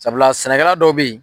Sabula sɛnɛkɛla dɔw b'i.